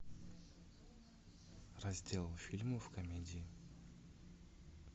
раздел фильмов комедии